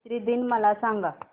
मैत्री दिन मला सांगा